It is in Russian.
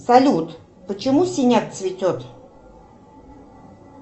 салют почему синяк цветет